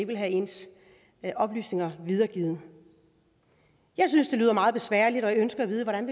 vil have ens oplysninger videregivet jeg synes det lyder meget besværligt og jeg ønsker at vide hvordan